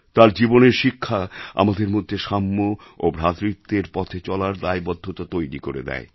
তাঁর জীবনের শিক্ষা আমাদের মধ্যে সাম্য এবং ভ্রাতৃত্বের পথে চলার দায়বদ্ধতা তৈরি করে দেয়